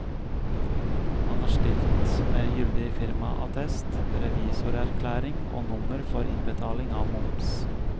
Han har stilt med gyldig firmaattest, revisorerklæring og nummer for innbetaling av moms.